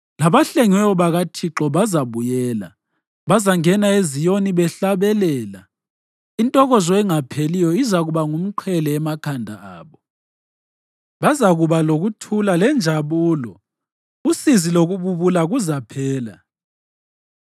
Labahlengiweyo bakaThixo bazabuyela. Bazangena eZiyoni behlabelela, intokozo engapheliyo izakuba ngumqhele emakhanda abo. Bazakuba lokuthula lenjabulo, usizi lokububula kuzaphela.